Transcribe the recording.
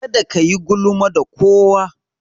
Kada kayi gulma da kowa.